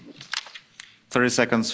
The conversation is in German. Wir haben genug Beweise.